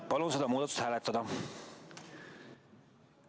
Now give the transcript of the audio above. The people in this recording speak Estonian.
Palun seda muudatusettepanekut hääletada!